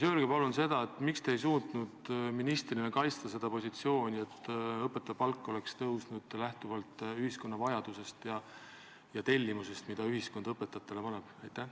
Öelge palun, miks te ei suutnud ministrina kaitsta positsiooni, et õpetaja palk oleks tõusnud lähtuvalt ühiskonna vajadusest ja tellimusest, mida ühiskond õpetajatele esitab?